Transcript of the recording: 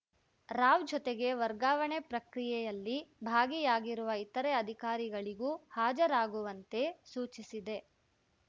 ರಾವ್‌ ಜೊತೆಗೆ ವರ್ಗಾವಣೆ ಪ್ರಕ್ರಿಯೆಯಲ್ಲಿ ಭಾಗಿಯಾಗಿರುವ ಇತರೆ ಅಧಿಕಾರಿಗಳಿಗೂ ಹಾಜರಾಗುವಂತೆ ಸೂಚಿಸಿದೆ